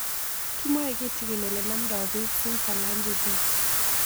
Kimwae kitigin ole namdoi piik Symphalangism